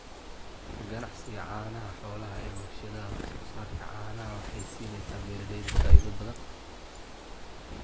Ka ganacsiga caanaha xoolaha ee warshadaha wax soo saarka caanaha waxay siinaysaa beeralayda faa'iido badan.